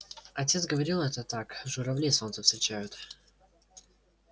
отец говорил это так журавли солнце встречают